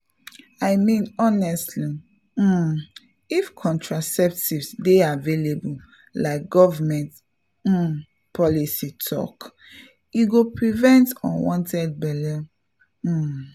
i mean honestly um if contraceptives dey available like government um policy talk e go prevent unwanted belle — um.